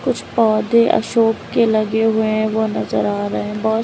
कुछ पौधे अशोक के लगे हुए हैं वह नजर आ रहे हैं।